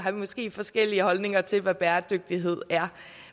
vi måske forskellige holdninger til hvad bæredygtighed er